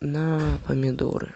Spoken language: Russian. на помидоры